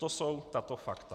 To jsou tato fakta.